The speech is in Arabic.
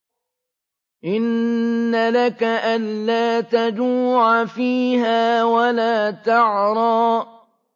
إِنَّ لَكَ أَلَّا تَجُوعَ فِيهَا وَلَا تَعْرَىٰ